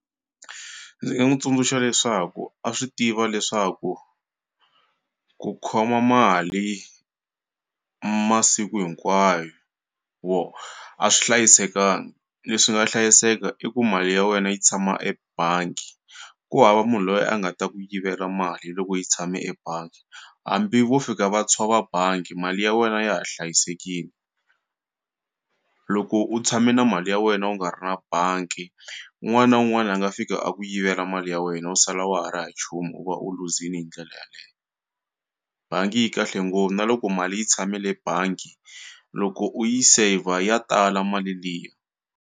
Ndzi nga n'wu tsundzuxa leswaku a swi tiva leswaku ku khoma mali masiku hinkwayo wo a swi hlayisekanga leswi nga hlayiseka i ku mali ya wena yi tshama ebangi ku hava munhu loyi a nga ta ku yivela mali loko yi tshame ebangi hambi vo fika va tshova bangi mali ya wena ya ha hlayisekini loko u tshame na mali ya wena u nga ri na bangi un'wana na un'wana a nga fika a ku yivela mali ya wena u sala wa ha ri ha nchumu u va u luzini hi ndlela yaleyo bangi yi kahle ngopfu na loko mali yi tshame le bangi loko u yi saver ya tala mali liya.